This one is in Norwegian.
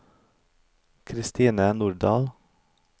Kristine Nordahl